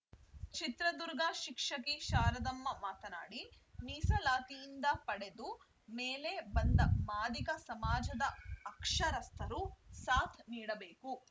ಚಿತ್ರದುರ್ಗ ಶಿಕ್ಷಕಿ ಶಾರದಮ್ಮ ಮಾತನಾಡಿ ಮೀಸಲಾತಿಯಿಂದ ಪಡೆದು ಮೇಲೆ ಬಂದ ಮಾದಿಗ ಸಮಾಜದ ಅಕ್ಷರಸ್ಥರು ಸಾಥ್‌ ನೀಡಬೇಕು